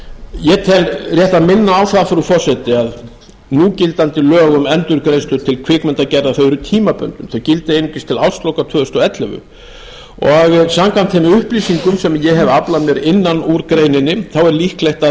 ég tel rétt að minna á það frú forseti að núgildandi lög um endurgreiðslur til kvikmyndagerðar eru tímabundin og gilda einungis til ársloka tvö þúsund og ellefu og samkvæmt þeim upplýsingum sem ég hef aflað mér er innan úr greininni er líklegt að þegar á